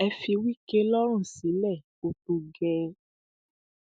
ẹ fi wike lọrùn sílẹ ó tó gẹẹ